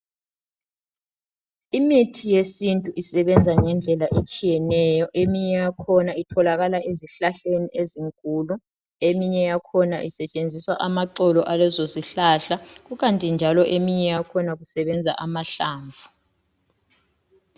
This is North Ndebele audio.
Imithi yesintu isebenza ngendlela etshiyeneyo. Eminye yakhona itholakala ezihlahleni ezinkulu. Eminye yakhona isetshenziswa amaxolo alesosihlahla. Kukanti njalo eminye yakhona kusebenza amahlamvu.